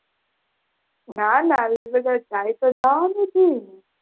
ના ના, એટલે જાય તો જવાનુજ હોય ને